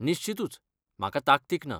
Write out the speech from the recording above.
निश्चीतूच, म्हाका ताकतीक ना.